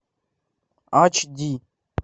ач ди